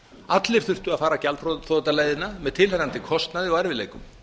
allir þurftu að fara gjaldþrotaleiðina með tilheyrandi kostnaði og erfiðleikum